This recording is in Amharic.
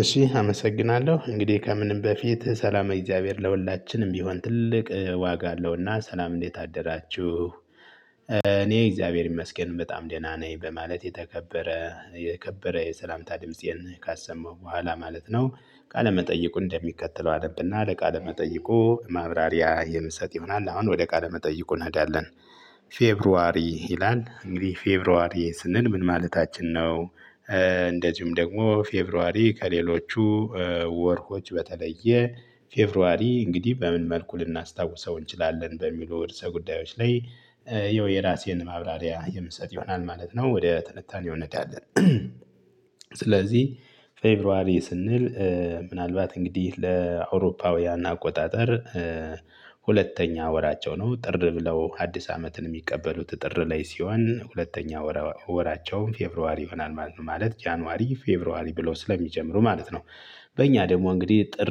እሺ አመሰግናለሁ እንግዲህ ከምንም በፊት ሰላመ እግዚአብሔር ለሁላችንም ቢሆን ትልቅ ዋጋ አለውና ሰላም እንዴት አደራችሁ? እኔ እግዚአብሔር ይመስገን በጣም ደህና ነኝ በማለት የተከበረ የከበረ የሰላምታ ድምፄን ካሰማው በኋላ ማለት ነው። ቃለመጠይቁን እንደሚከተለው አነብና ለቃለመጠይቁ ማብራሪያ የምሰጥ ይሆናል። አሁን ወደ ቃለ መጠይቁ እንሄዳለን። ፌብሩዋሪ ይላል እንግዲህ ፌብሩዋሪ ስንል ምን ማለታችን ነው? እንደዚሁም ደግሞ ፌብሩዋሪ ከሌሎቹ ወርሆች በተለየ ፌብሩዋሪ እንግዲህ በምን መልኩ ልናስታውሰው እንችላለን በሚሉ ርሰ ጉዳዮች ላይ። የው የራሴን ማብራሪያ የምሰጥ ይሆናል ማለት ነው ወደ ትንታኔው እንሄዳለን። ስለዚህ ፌብሩዋሪ ስንል ምናልባት እንግዲህ ለአውሮፓውያን አቆጣጠር ሁለተኛ ወራቸው ነው። ጥር ብለው አዲስ አመትን የሚቀበሉት ጥር ላይ ሲሆን ሁለተኛ ወራቸውም ፌብሩዋሪ ይሆናል ማለት ጃንዋሪ ፌብሩዋሪ ብለው ስለሚጀምሩ ማለት ነው። በእኛ ደግሞ እንግዲህ ጥር